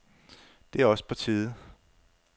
Det er også på tide.